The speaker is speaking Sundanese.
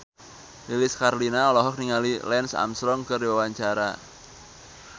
Lilis Karlina olohok ningali Lance Armstrong keur diwawancara